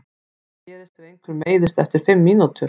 Hvað gerist ef einhver meiðist eftir fimm mínútur?